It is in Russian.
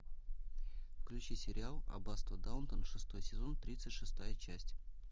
включи сериал аббатство даунтон шестой сезон тридцать шестая часть